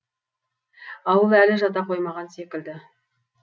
ауыл әлі жата қоймаған секілді